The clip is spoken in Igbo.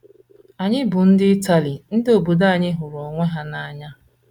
“ Anyị bụ ndị Itali. Ndị obodo anyị hụrụ ibe ha n’anya.